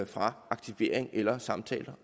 fra aktivering eller samtaler